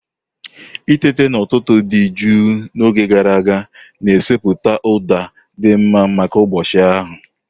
Itete n'ụtụtụ dị jụụ n'oge gara aga na-esetịpụ ụda dị mma maka ụbọchị ahụ.